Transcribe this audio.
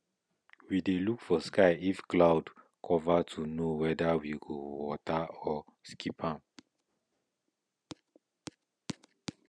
we dey look sky if cloud cover to know whether we go water or skip am